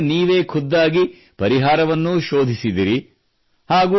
ಆ ಸಮಸ್ಯೆಗೆ ನೀವೇ ಖುದ್ದಾಗಿ ಪರಿಹಾರವನ್ನೂ ಶೋಧಿಸಿದಿರಿ